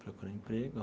Procurar emprego.